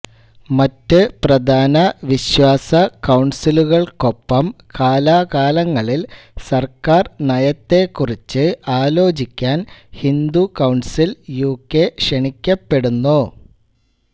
മറ്റ് പ്രധാന വിശ്വാസ കൌൺസിലുകൾക്കൊപ്പം കാലാകാലങ്ങളിൽ സർക്കാർ നയത്തെക്കുറിച്ച് ആലോചിക്കാൻ ഹിന്ദു കൌൺസിൽ യുകെ ക്ഷണിക്കപ്പെടുന്നു